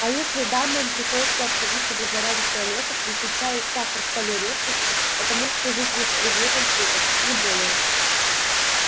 а если дамам приходится обходиться без нарядных туалетов если чай и сахар стали редкостью это может служить лишь предметом шуток не более